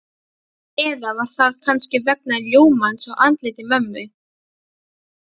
Eða var það kannski vegna ljómans á andliti mömmu?